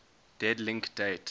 dead link date